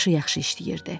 Başı yaxşı işləyirdi.